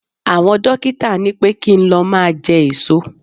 Àwọn dókítà ní pé kí n lọ máa jẹ èso.